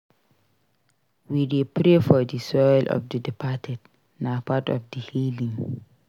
We dey pray for the soul of the departed; na part of di healing.